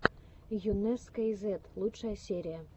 йунесскейзет лучшая серия